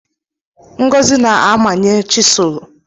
Ngozi na amanye chisulu